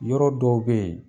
Yɔrɔ dɔw be ye